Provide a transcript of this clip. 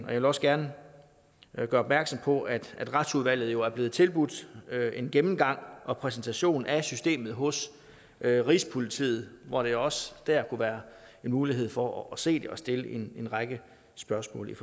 og jeg også gerne gøre opmærksom på at retsudvalget i jo er blevet tilbudt en gennemgang og præsentation af systemet hos rigspolitiet hvor der også kunne være mulighed for at se det og stille en række spørgsmål